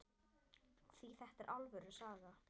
Því þetta er alvöru saga.